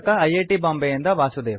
T Bombay ಯಿಂದ ವಾಸುದೇವ